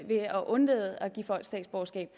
statsborgerskab